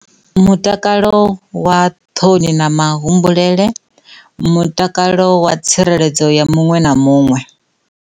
Mutakalo wa ṱhoni na ma humbulele mutakalo wa tsireledzo ya muṅwe na muṅwe.